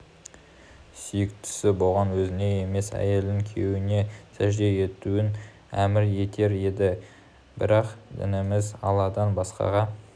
сүйіктісі болған өзіне емес әйелдің күйеуіне сәжде етуін әмір етер еді бірақ дініміз алладан басқаға